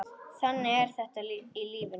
Þannig er þetta í lífinu.